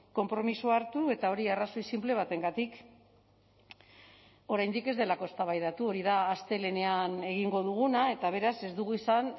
konpromisoa hartu eta hori arrazoi sinple batengatik oraindik ez delako eztabaidatu hori da astelehenean egingo duguna eta beraz ez dugu izan